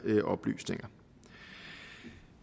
oplysninger